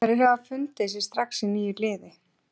Hverjir hafa fundið sig strax í nýju liði?